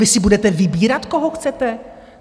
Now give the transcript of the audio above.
Vy si budete vybírat, koho chcete?